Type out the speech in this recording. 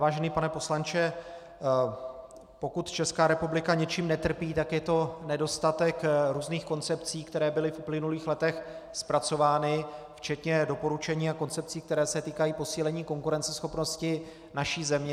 Vážený pane poslanče, pokud Česká republika něčím netrpí, tak je to nedostatek různých koncepcí, které byly v uplynulých letech zpracovány, včetně doporučení a koncepcí, které se týkají posílení konkurenceschopnosti naší země.